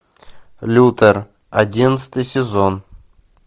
лютер одиннадцатый сезон